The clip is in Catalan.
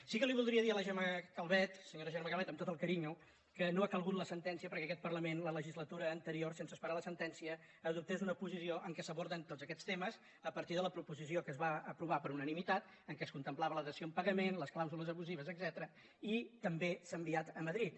sí que voldria dir a la senyora gemma calvet amb tot el carinyo que no ha calgut la sentència perquè aquest parlament la legislatura anterior sense esperar la sentència adoptés una posició en què s’aborden tots aquests temes a partir de la proposició que es va aprovar per unanimitat en què es contemplava la dació en pagament les clàusules abusives etcètera i també s’ha enviat a madrid